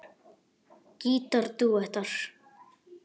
Gítar dúettar